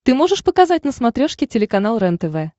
ты можешь показать на смотрешке телеканал рентв